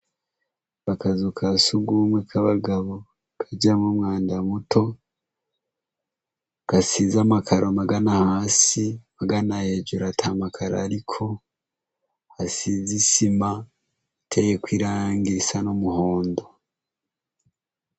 Akazu kasugumwe k'abagabo ,kajamwo umwanda muto, gasize amakaro magana hasi, magana hejuru atamakaro ariko, hasize isima iteyeko irangi risa n'umuhondo.